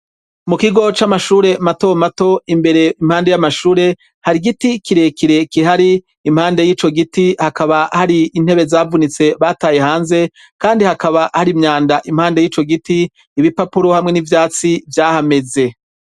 Mu kigo c'amashure matomato imbere impande y'amashure, hari igiti kirekire kihari impande y'ico giti hakaba hari intebe zavunitse bataye hanze, kandi hakaba hari imyanda impande y'ico giti, ibipapuro hamwe n'ivyatsi vyahameze.